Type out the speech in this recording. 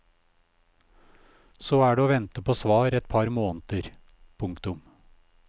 Så er det å vente på svar et par måneder. punktum